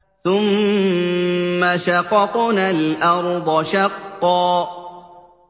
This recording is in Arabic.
ثُمَّ شَقَقْنَا الْأَرْضَ شَقًّا